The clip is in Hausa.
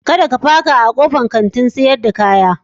Kar ka paka a kofan fita na Kantin sayar da kaya.